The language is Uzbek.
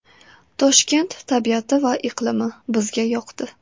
Toshkent tabiati va iqlimi bizga yoqdi.